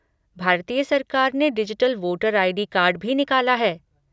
भारतीय सरकार ने डिजिटल वोटर आई.डी. कार्ड भी निकाला है।